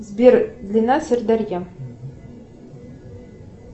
сбер длинна сырдарья